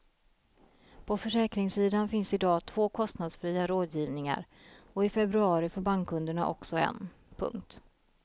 På försäkringssidan finns i dag två kostnadsfria rådgivningar och i februari får bankkunderna också en. punkt